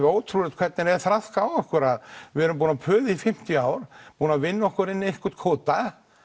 ótrúlegt hvernig það er traðkað á okkur við erum búin að puða í fimmtíu ár búin að vinna okkur inn einhvern kvóta